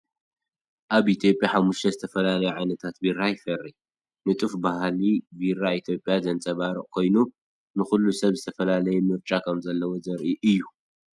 ኣብ ኢትዮጵያ ሓሙሽተ ዝተፈላለዩ ዓይነታት ቢራ ይፈሪ። ንጡፍ ባህሊ ቢራ ኢትዮጵያ ዘንጸባርቕ ኮይኑ፡ ንኹሉ ሰብ ዝተፈላለየ ምርጫ ከምዘሎ ዘርኢ እዩ።